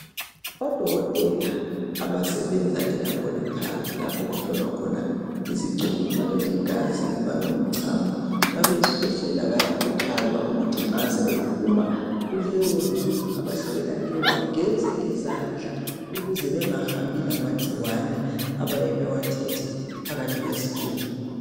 odokotela abasebenza e laboratory lapho okuhlolwa khona izicubu kungaba ligazi kungabe ngumcamo kungabe yisikwehlela bayakhuthazwa ukuthi nxa sebephuma kuleyondlu abahlolela kuyo bageze izandla ukuze bengahambi lamagcikwane abayabe bewathethe phakathi kwezicubu